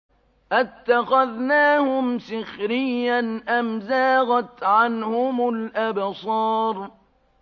أَتَّخَذْنَاهُمْ سِخْرِيًّا أَمْ زَاغَتْ عَنْهُمُ الْأَبْصَارُ